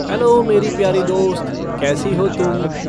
Hello मेरी प्यारी दोस्त, कैसी हो तुम?